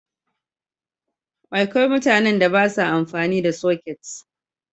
Akwai mutanen da ba sa amfani da soket.